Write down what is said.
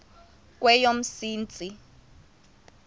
kweyomsintsi